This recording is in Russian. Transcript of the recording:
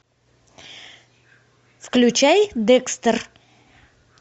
включай декстер